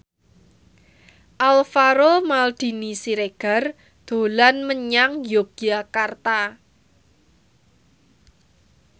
Alvaro Maldini Siregar dolan menyang Yogyakarta